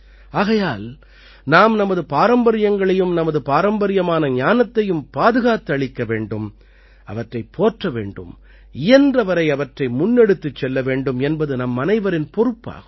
ஆகையால் நாம் நமது பாரம்பரியங்களையும் நமது பாரம்பரியமான ஞானத்தையும் பாதுகாத்தளிக்க வேண்டும் அவற்றைப் போற்ற வேண்டும் இயன்றவரை அவற்றை முன்னெடுத்துச் செல்ல வேண்டும் என்பது நம்மனைவரின் பொறுப்பாகும்